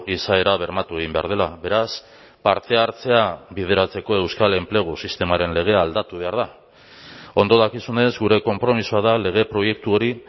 izaera bermatu egin behar dela beraz parte hartzea bideratzeko euskal enplegu sistemaren legea aldatu behar da ondo dakizunez gure konpromisoa da lege proiektu hori